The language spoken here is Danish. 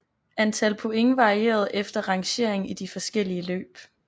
Antal point varierede efter rangering i de forskellige løb